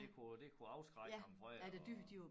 Det kunne det kunne afskrække ham fra at